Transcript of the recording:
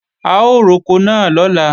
A ó roko náà lọ́la